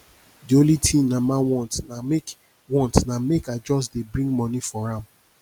the only thing my mama want na make want na make i just dey bring money for am